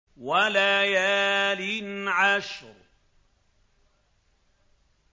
وَلَيَالٍ عَشْرٍ